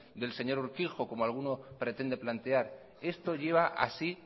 del señor urkijo como alguno pretende plantear esto lleva así